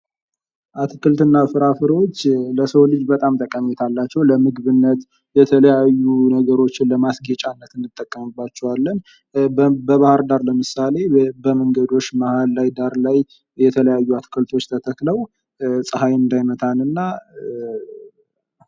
እትክልት እና ፍራፍሬዎች ለሰው ልጅ በጣም ጠቀሜታ አላቸው ለምግብነት የተለያዩ ነገሮችኝ ለማስጌጫነት እንጠቀምባቸዋለን በባህር ዳር ለምሳሌ በመንገዶች መሃል ላይ ዳር ላይ የተለያዩ አትክልቶች ተተክለው ፀሀይ እንዳይመታንና ።